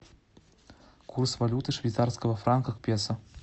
курс валюты швейцарского франка к песо